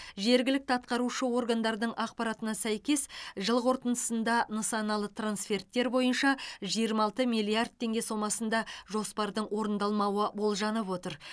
жергілікті атқарушы органдардың ақпаратына сәйкес жыл қорытындысында нысаналы трансферттер бойынша жиырма алты миллиард теңге сомасында жоспардың орындалмауы болжанып отыр